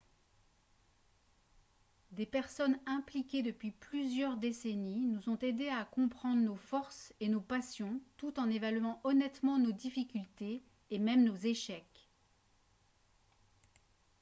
des personnes impliquées depuis plusieurs décennies nous ont aidés à comprendre nos forces et nos passions tout en évaluant honnêtement nos difficultés et même nos échecs